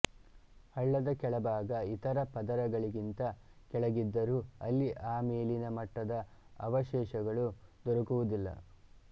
ಹಳ್ಳದ ಕೆಳಭಾಗ ಇತರ ಪದರಗಳಿಗಿಂತ ಕೆಳಗಿದ್ದರೂ ಅಲ್ಲಿ ಆಮೇಲಿನ ಮಟ್ಟದ ಅವಶೇಷಗಳು ದೊರಕುವುದಿಲ್ಲ